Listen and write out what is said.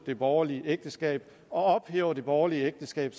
det borgerlige ægteskab og ophæver det borgerlige ægteskab